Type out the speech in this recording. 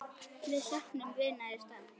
Við söknum vinar í stað.